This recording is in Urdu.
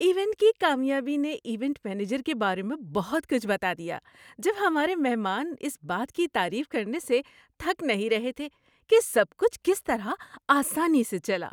ایونٹ کی کامیابی نے ایونٹ مینیجر کے بارے میں بہت کچھ بتا دیا جب ہمارے مہمان اس بات کی تعریف کرنے سے تھک نہیں رہے تھے کہ سب کچھ کس طرح آسانی سے چلا۔